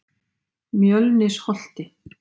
Mjölnisholti